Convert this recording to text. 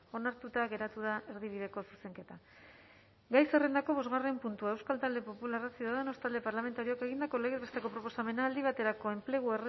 onartuta geratu da erdibideko zuzenketa gai zerrendako bosgarren puntua euskal talde popularra ciudadanos talde parlamentarioak egindako legez besteko proposamena aldi baterako enplegu